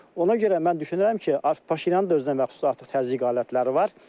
Ona görə mən düşünürəm ki, Paşinyanın da özünəməxsus artıq təzyiq alətləri var.